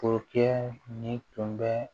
nin tun bɛ